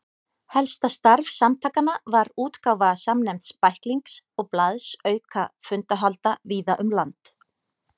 Helsta starf samtakanna var útgáfa samnefnds bæklings og blaðs auka fundahalda víða um land.